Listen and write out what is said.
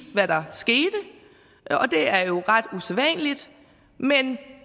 hvad der skete det er ret usædvanligt men